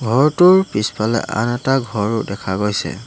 ঘৰটোৰ পিছফালে আৰু এটা ঘৰ দেখা গৈছে।